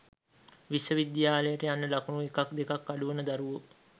විශ්ව විද්‍යාලයට යන්න ලකුණු එකක් දෙකක් අඩුවන දරුවෝ